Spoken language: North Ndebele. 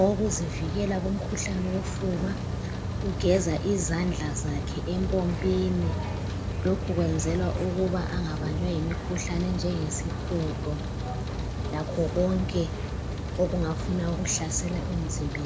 okokuzivikel kumkhuhlane wofuba. Ugeza izandla zakhe empompini, lokho wenzela ukuthi angabanjwa yimikhuhlane enjengesihudo lakho konke okungafuna ukuhlasela emzimbeni.